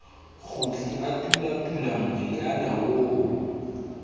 kgutle a tulatula moriana oo